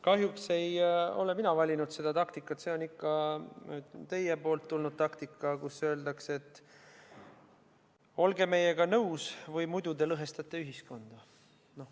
Kahjuks ei ole mina valinud seda taktikat, see on ikka teie poolt tulnud taktika, kui öeldakse, et olge meiega nõus või muidu te lõhestate ühiskonda.